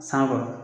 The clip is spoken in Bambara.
Sanko